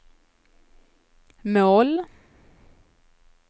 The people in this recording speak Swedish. mål